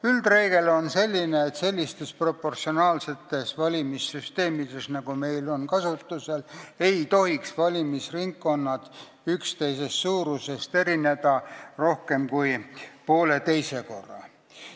Üldreegel on selline, et sellistes proportsionaalsetes valimissüsteemides, nagu meil kasutusel on, ei tohiks valimisringkonnad üksteisest suuruselt erineda rohkem kui poolteist korda.